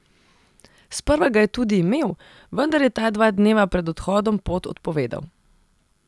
Sprva ga je tudi imel, vendar je ta dva dneva pred odhodom pot odpovedal.